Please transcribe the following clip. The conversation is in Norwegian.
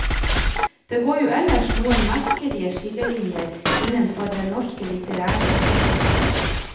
Det går jo ellers noen merkelige skillelinjer innenfor den norske litterære offentligheten.